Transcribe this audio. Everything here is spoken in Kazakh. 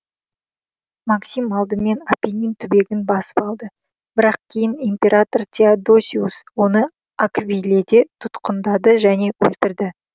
максим алдымен апеннин түбегін басып алды бірақ кейін император теодосиус оны аквиледе тұтқындады және өлтірді